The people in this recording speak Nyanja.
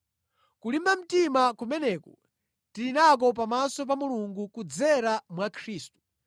Kulimba mtima kumeneku tili nako pamaso pa Mulungu kudzera mwa Khristu.